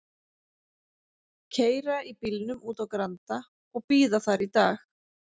Keyra í bílnum út á Granda og bíða þar í dag.